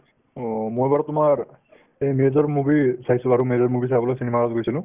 অ' মই বাৰু তোমাৰ এই major movie চাইছো আৰু major movie চাবলৈ cinema hall ত গৈছিলো